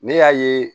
Ne y'a ye